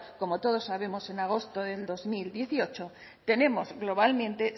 como todos sabemos en agosto del dos mil dieciocho tenemos globalmente